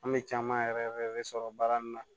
An bɛ caman yɛrɛ de sɔrɔ baara nin na